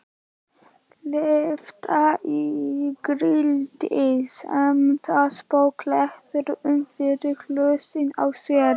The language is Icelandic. Lyfta ígildi sementspoka léttilega upp fyrir hausinn á sér.